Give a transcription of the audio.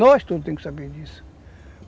Nós todos temos que saber disso.